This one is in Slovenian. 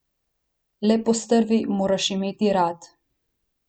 Le postrvi moraš imeti rad.